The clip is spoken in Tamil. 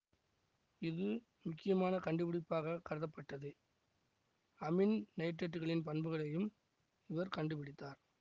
இது முக்கியமான கண்டுபிடிப்பாகக் கருதப்பட்டது அமீன் நைட்ரைட்டுகளின் பண்புகளையும் இவர் கண்டு பிடித்தார்